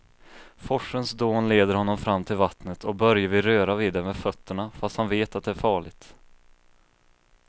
Forsens dån leder honom fram till vattnet och Börje vill röra vid det med fötterna, fast han vet att det är farligt.